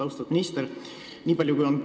Austatud minister!